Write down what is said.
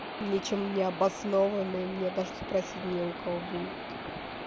ничем не обоснованные мне даже спросить не у кого будет